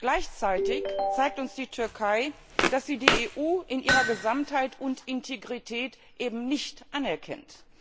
Gleichzeitig zeigt uns die Türkei, dass sie die EU in ihrer Gesamtheit und Integrität eben nicht anerkennt.